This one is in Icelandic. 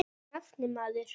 Og nafnið, maður.